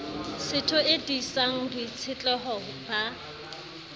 setho e tiisang boitshetleho ba